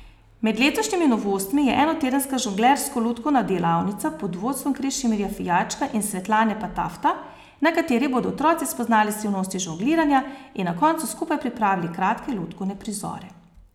Med letošnjimi novostmi je enotedenska žonglersko lutkovna delavnica pod vodstvom Krešimirja Fijačka in Svetlane Patafta, na kateri bodo otroci spoznali skrivnosti žongliranja in na koncu skupaj pripravili kratke lutkovne prizore.